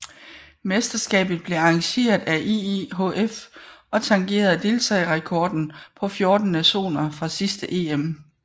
Mesterskabet blev arrangeret af IIHF og tangerede deltagerrekorden på 14 nationer fra sidste EM